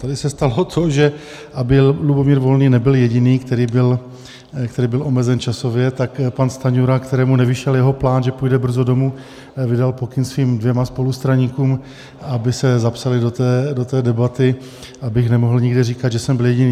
Tady se stalo to, že, aby Lubomír Volný nebyl jediný, který byl omezen časově, tak pan Stanjura, kterému nevyšel jeho plán, že půjde brzy domu, vydal pokyn svým dvěma spolustraníkům, aby se zapsali do té debaty, abych nemohl nikde říkat, že jsem byl jediný.